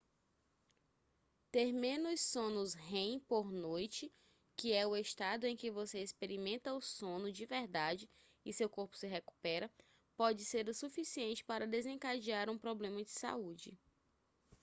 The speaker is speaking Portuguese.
ter menos sonos rem por noite que é o estado em que você experimenta o sono de verdade e seu corpo se recupera pode ser o suficiente para desencadear um problema de saúde